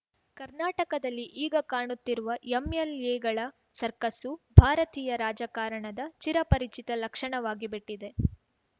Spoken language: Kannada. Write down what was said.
ಕರ್ನಾಟಕದಲ್ಲಿ ಈಗ ಕಾಣುತ್ತಿರುವ ಎಂಎಲ್‌ಎಗಳ ಸರ್ಕಸ್ಸು ಭಾರತೀಯ ರಾಜಕಾರಣದ ಚಿರಪರಿಚಿತ ಲಕ್ಷಣವಾಗಿಬಿಟ್ಟಿದೆ